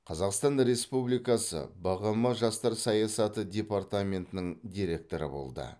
қазақстан республикасы бғм жастар саясаты департаментінің директоры болды